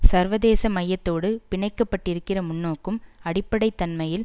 சர்வதேச மயத்தோடு பிணைக்கப்பட்டிருக்கிற முன்னோக்கும் அடிப்படை தன்மையில்